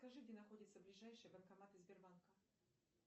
скажи где находятся ближайшие банкоматы сбербанка